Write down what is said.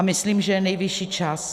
A myslím, že je nejvyšší čas.